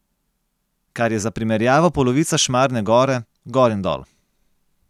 Kar je za primerjavo polovica Šmarne gore, gor in dol.